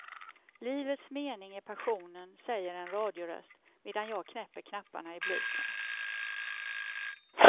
Livets mening är passionen, säger en radioröst, medan jag knäpper knapparna i blusen.